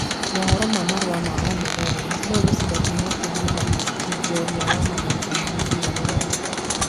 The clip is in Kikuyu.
Maũhoro ma marũa ma omuthenya, Nũ ũgucida kiheo kĩa mũthaki jorua wa mathako ma mũbira rũraya.